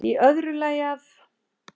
Í öðru lagi að